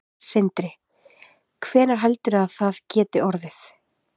Sindri: Hvenær heldurðu að það geti orðið?